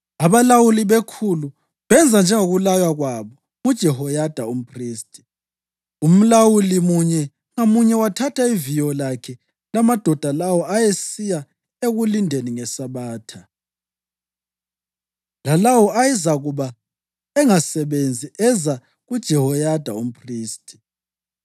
Abalawuli bekhulu benza njengokulaywa kwabo nguJehoyada umphristi. Umlawuli munye ngamunye wathatha iviyo lakhe lamadoda lawo ayesiya ekulindeni ngeSabatha lalawo ayezakuba engasebenzi eza kuJehoyada umphristi.